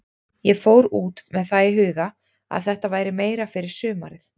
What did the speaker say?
Ég fór út með það í huga að þetta væri meira fyrir sumarið.